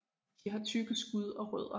De har tykke skud og rødder